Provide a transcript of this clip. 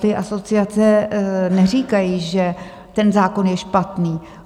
Ty asociace neříkají, že ten zákon je špatný.